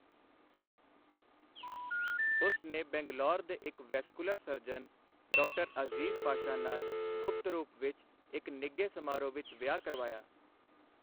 ਉਸ ਨੇ ਬੰਗਲੌਰ ਦੇ ਇੱਕ ਵੈਸਕੁਲਰ ਸਰਜਨ, ਡਾ. ਅਜ਼ੀਜ਼ ਪਾਸ਼ਾ ਨਾਲ ਗੁਪਤ ਰੂਪ ਵਿੱਚ ਇੱਕ ਨਿੱਘੇ ਸਮਾਰੋਹ ਵਿੱਚ ਵਿਆਹ ਕਰਵਾਇਆ।